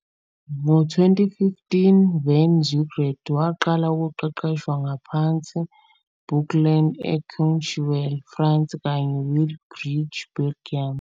Ngo-2015, van Zundert waqala ukuqeqeshwa ngaphansi Ans Bocklandt e Courchevel, France kanye Wilrijk, Belgium.